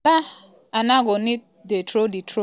ola aina go need dey throw dey throw for di nigeria team to score.